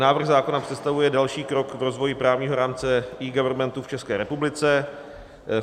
Návrh zákona představuje další krok v rozvoji právního rámce eGovernmentu v České republice.